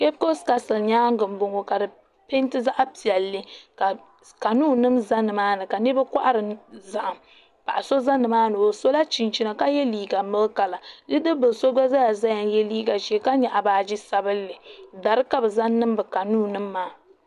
Kepkos kastil nyaanga m boŋɔ ka di penti zaɣa piɛlli ka kanuu nima za nimaani niriba kohari zahim paɣa so za nimaani o sola chinchini ka ye liiga milki kala bidibila so gba yw liiga ʒee la nyaɣi baaji sabinli dari ka bɛ zaŋ niŋ bɛ kanuu maa.